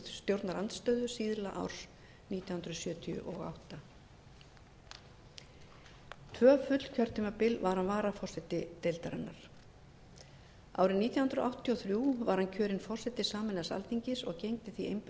stjórnarandstöðu síðla árs nítján hundruð sjötíu og átta tvö full kjörtímabil var hann varaforseti deildarinnar árið nítján hundruð áttatíu og þrjú var hann kjörinn forseti sameinaðs alþingis og gegndi því